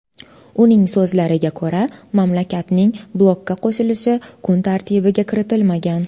Uning so‘zlariga ko‘ra, mamlakatning blokka qo‘shilishi kun tartibiga kiritilmagan.